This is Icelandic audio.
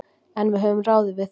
En við höfum ráðið við það.